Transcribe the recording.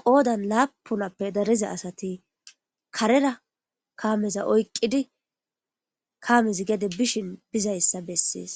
qoodan laapunappe dareza asati karera kaameza oyqqidi kaames gede bishin bizayssa bessees